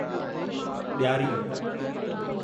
ॾियारी